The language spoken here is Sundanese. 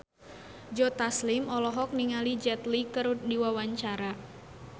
Joe Taslim olohok ningali Jet Li keur diwawancara